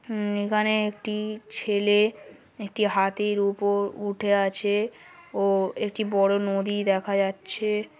হুম এখানে একটি ছেলে একটি হাতির ওপর উঠে আছে ও একটি বড়ো নদী দেখা যাচ্ছে।